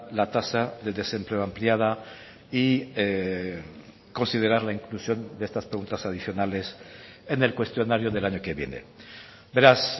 la tasa de desempleo ampliada y considerar la inclusión de estas preguntas adicionales en el cuestionario del año que viene beraz